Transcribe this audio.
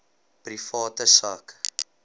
private sak